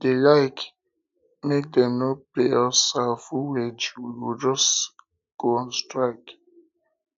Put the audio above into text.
if dey like make dem um no pay pay us our full wage we go just go on strike